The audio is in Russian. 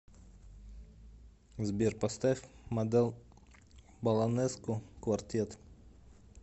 сбер поставь модел баланеску квартет